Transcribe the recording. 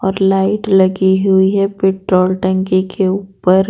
और लाइट लगी हुई है पेट्रोल टंकी के ऊपर--